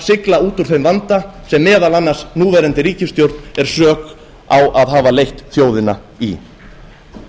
sigla út úr þeim vanda sem meðal annars núverandi ríkisstjórn á sök á að hafa leitt þjóðina í